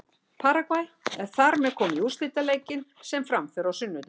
Paragvæ er þar með komið í úrslitaleikinn sem fram fer á sunnudaginn.